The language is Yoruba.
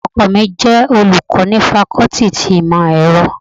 Ọkọ mi jẹ olùkọ́ ni fakọ́tì ti Ìmọ̀-ẹrọ.